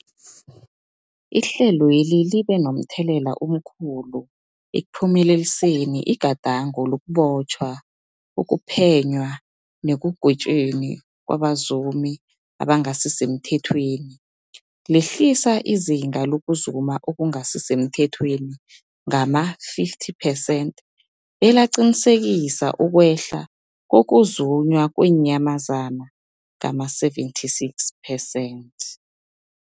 Ihlelweli libe momthelela omkhulu ekuphumeleliseni igadango lokubotjhwa, ukuphenywa nekugwetjweni kwabazumi abangasisemthethweni, lehlisa izinga lokuzuma okungasi semthethweni ngama-50 percent belaqinisekisa ukwehla kokuzunywa kweenyamazana ngama-76 percent.